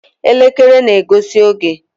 Elekere na-egosi oge.